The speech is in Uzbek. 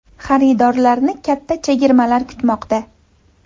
Xaridorlarni katta chegirmalar kutmoqda.